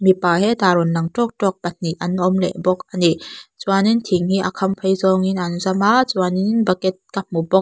mipa hetah rawn lang tawk tawk pahnih an awm leh bawk ani chuanin thing hi a khamphei zawngin an zam a chuanin bucket ka hmu bawk.